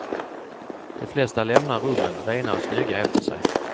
De flesta lämnar rummen rena och snygga efter sig.